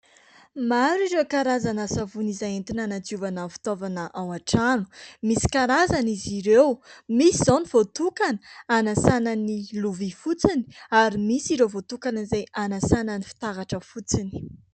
Maro ireo karazana savony izay entina hanadiovana fitaovana ao an-trano, misy karazany izy ireo: misy izao ny voatokana hanasàna ny lovia fotsiny, ary misy ireo voatokana izay hanasàna ny fitaratra fotsiny.